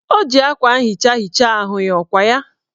O ji akwa nhicha hichaa ahụ ya, ọkwa ya?